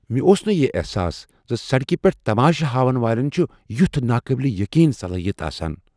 مےٚ اوس نہٕ یِہ احساس ز سڑکہ پیٹھ تماشہِ ہاون والین چھٗ یٗتھ ناقابلِ یقین صلاحیت آسان۔